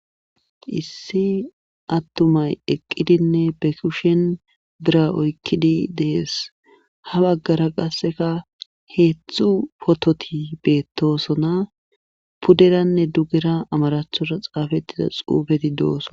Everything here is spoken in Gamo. Issi attumay eqqidinne be kushen bira oykkidi dees ha baggara qasseka heedzdzu pototi beettoosona puderanne dugera amarathora xaafettida xuufeti doosona.